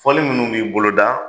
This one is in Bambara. Foli minnu bi bolo da